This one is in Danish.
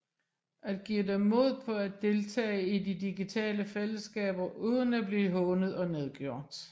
At give dem mod på at deltage i de digitale fællesskaber uden at blive hånet og nedgjort